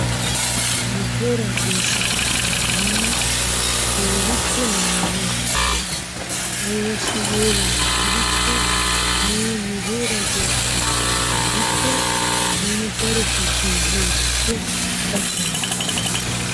Nu heeraa geeshshatettaa nuuni keehippe naaganawu bessos. Ayibaassi giyoo mala gidikko nuuni nu heeraa geeshshatettaa naagikko nuuni daro harggee yiyoogaappe attanawu danddayoosu.